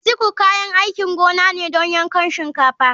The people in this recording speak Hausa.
Sickle kayan aikin gona ne don yankan shinkafa.